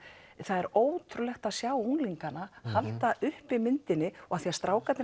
það er ótrúlegt að sjá unglingana halda uppi myndinni og af því að strákarnir